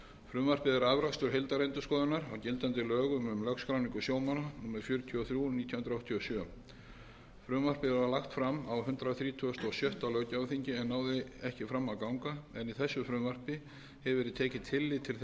frumvarpið er afrakstur heildarendurskoðunar á gildandi lögum um lögskráningu sjómanna númer fjörutíu og þrjú nítján hundruð áttatíu og sjö frumvarpið var lagt fram á hundrað þrítugasta og sjötta löggjafarþingi en náði ekki fram að ganga en í þessu frumvarpi hefur verið tekið tillit til þeirra athugasemda er